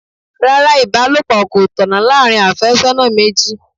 Rárá, ibalopo kò tọ̀nà láàárín afésónà méjì.